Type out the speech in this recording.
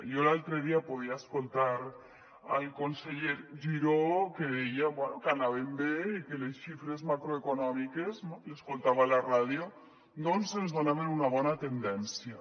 jo l’altre dia podia escoltar el conseller giró que deia bé que anàvem bé i que les xifres macroeconòmiques no l’escoltava a la ràdio doncs ens donaven una bona tendència